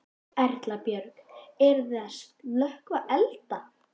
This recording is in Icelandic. Erla Björg: Eruð þið að slökkva elda?